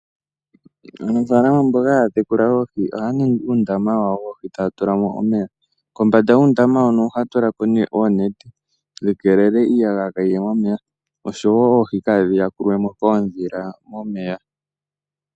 Aanafalama mboka haya tekula oohi ohaya ningi uundama wawo woohi taya tulamo omeya. Kombanda yuundama huno ohaya tulako nee oonete, dhi keelele iiyagaya kayi ye momeya, oshowo oohi kadhi yakulwemo koodhila momeya.